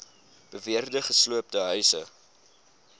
beweerde gesloopte huise